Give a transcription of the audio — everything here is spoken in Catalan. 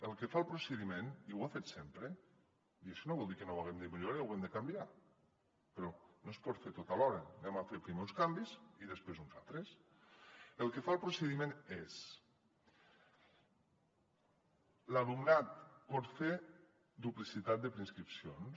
el que fa el procediment i ho ha fet sempre i això no vol dir que no ho haguem de millorar i ho haguem de canviar però no es pot fer tot alhora fem primer uns canvis i després uns altres és l’alumnat pot fer duplicitat de preinscripcions